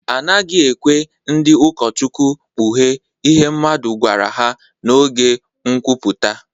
A naghị ekwe ndị ụkọchukwu kpughee ihe mmadụ gwara ha n’oge nkwuputa.